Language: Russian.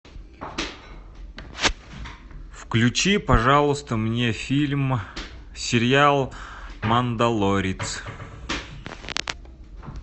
включи пожалуйста мне фильм сериал мандалорец